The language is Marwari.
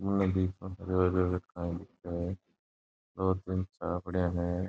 दो तीन चाबियां है।